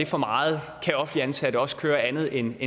for meget kan offentligt ansatte også køre andet end